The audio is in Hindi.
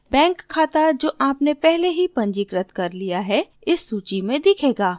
बैंक खाता जो आपने पहले ही पंजीकृत कर लिया है इस सूची में दिखेगा